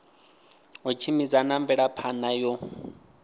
u tshimbidza na mvelaphana yo